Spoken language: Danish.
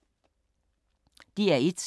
DR1